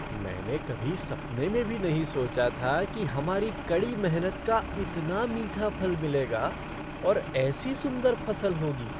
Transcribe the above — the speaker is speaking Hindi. मैंने कभी सपने में भी नहीं सोचा था कि हमारी कड़ी मेहनत का इतना मीठा फल मिलेगा और ऐसी सुंदर फसल होगी।